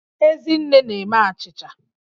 Ezinne na-eme achịcha